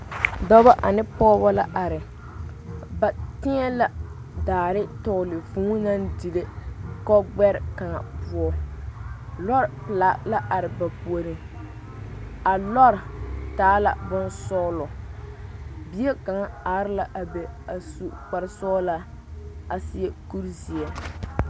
Dɔbɔ ane pɔɔbɔ la are ba tēɛ la daare tɔgle vūū naŋ dire kɔgbɛre kaa poɔ lɔre pelaa la are ba puoriŋ a lɔre taa la bonsɔglɔ bie kaŋa are la a be a su kparesɔglaa a seɛ kurizeɛ.